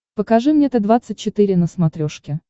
покажи мне т двадцать четыре на смотрешке